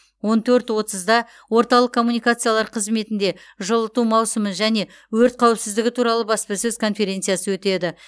он төрт отызда орталық коммуникациялар қызметінде жылыту маусымы және өрт қауіпсіздігі туралы баспасөз конференциясы өтеді